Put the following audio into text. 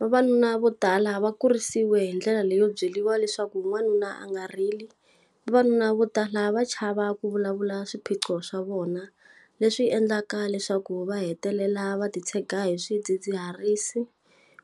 Vavanuna vo tala va kurisiwe hi ndlela leyo byeriwa leswaku wanuna a nga rili. Vavanuna vo tala va chava ku vulavula swiphiqo swa vona. Leswi endlaka leswaku ku va hetelela va ti tshega hi swidzidziharisi,